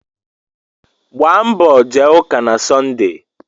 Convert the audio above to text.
Gbaa mbọ jee ụka na Sọnde.